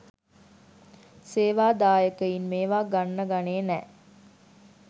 සේවා දායකයින් මේවා ගන්න ගනේ නෑ